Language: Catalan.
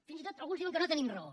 fins i tot alguns diuen que no tenim raó